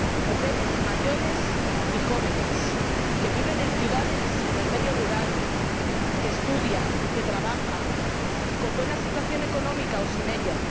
Mujeres mayores y jóvenes, que viven en ciudades y en el medio rural, que estudian, que trabajan, con buena situación económica o sin ella.